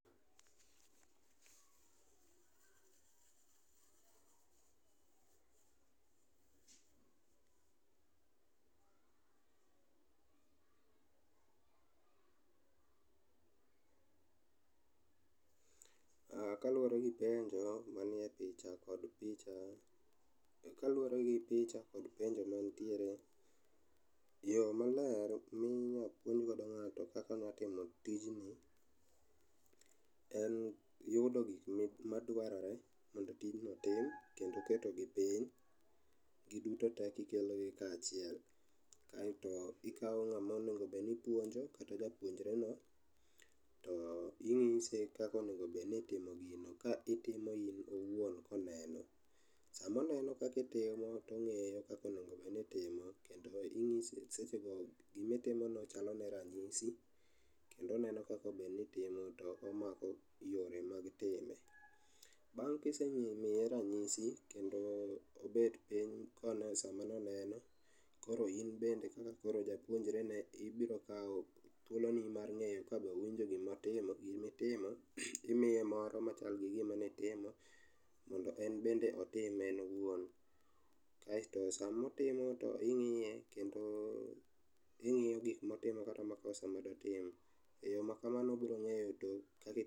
Kaluore gi penjo manie picha kod picha, kaluore gi picha kod penjo mantiere, yoo maler minya pim godo ng'ato kaka onya timo tijni en yudo gikma dwarore kendo tijno tim kendo ketogi piny giduto tee kikelo gi kachiel kaito ikao ng'ama onego obed ni ipuonjo kata japuonjre no kaito inyise kaka onego bedni itimo gini ka itimo in owuon koneno. Sama oneno kaka itimo tongiyo kaka onego bedni itimo kata inyise seche go gima itimono chalo ne ranyisi kendo oneno kaka onego bedni itimo kendo omako yore mag time. Bang' kisemiye ranyisi kendo obet piny koloso sama noneno, koro in bende koro japuonjre ne ibiro kao, thuoloni mar ng'eyo kabe owinjo gima otimo, gima itimo timiye moro machal gi gima nitimo mondo en be otim en owuon. Kaito sama otimo be ingiye kendo ingiyo gik motimo kata makosa madotim. Yoo makamano biro ngeyo